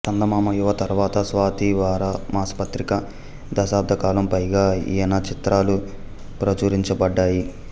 చందమామ యువ తర్వాత స్వాతి వార మాస పత్రికలలో దశాబ్ధకాలం పైగా ఈయన చిత్రాలు ప్రచురించబడ్డాయి